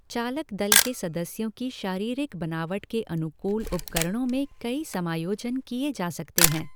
चालक दल के सदस्यों की शारीरिक बनावट के अनुकूल उपकरणों में कई समायोजन किए जा सकते हैं।